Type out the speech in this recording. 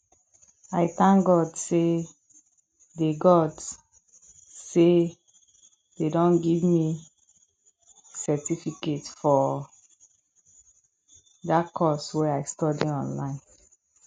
i thank god say dey god say dey don give me certificate for dat course wey i study online